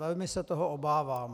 Velmi se toho obávám.